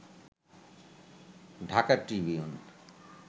Dhaka Tribune